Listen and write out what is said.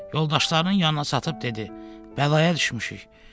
Yoldaşlarının yanına çatıb dedi: Bəlaya düşmüşük.